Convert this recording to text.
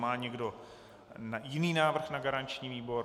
Má někdo jiný návrh na garanční výbor?